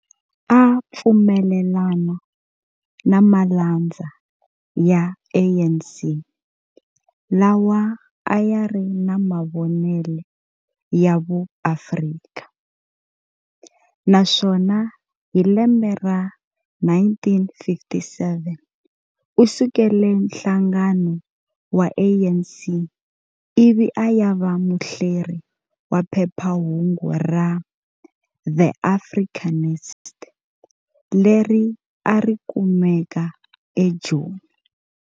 A a pfumelelana na malandza ya ANC lawa ayari na mavonele ya vuAfrika, naswona hi lembe ra 1957 u sukele nhlangano wa ANC ivi ayava muhleri wa phephahungu ra "The Africanist" leri arikumeka eJoni.